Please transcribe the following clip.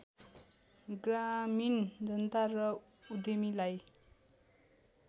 ग्रामीण जनता र उद्यमीलाई